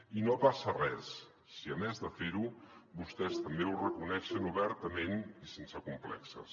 i no passa res si a més de fer·ho vostès també ho reconeixen obertament i sense com·plexos